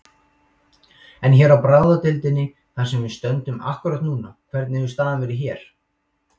En hér á bráðadeildinni þar sem við stöndum akkúrat núna, hvernig hefur staðan verið hér?